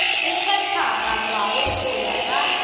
e phethagatšwago go ya ka